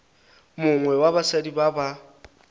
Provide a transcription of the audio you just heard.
mongwe wa basadi ba ba